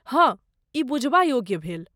हँ, ई बुझबा योग्य भेल।